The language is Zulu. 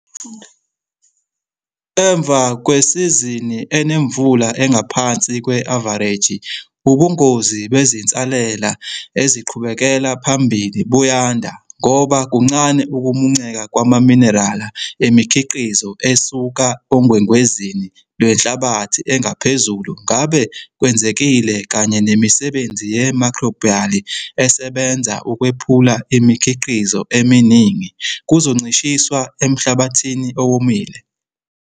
Emva kwesizini enemvula engaphansi kwe-avareji ubungozi bezinsalela eziqhubekela phambili buyanda ngoba kuncane ukumunceka kwamaminerala emikhiqizo esuka ongwengwezini lwenhlabathi engaphezulu ngabe kwenzekile kanye nemisebenzi ye-microbial, esebenza ukwephula imikhiqizo eminingi, kuzoncishiswa emhlabathini owomile.